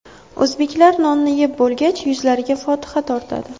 O‘zbeklar nonni yeb bo‘lgach, yuzlariga fotiha tortadi.